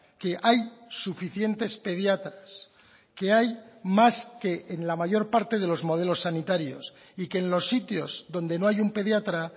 que hay suficientes pediatras que hay más que en la mayor parte de los modelos sanitarios y que en los sitios donde no hay un pediatra